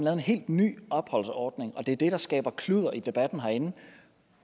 en helt ny opholdsordning det er det der skaber kludder i debatten herinde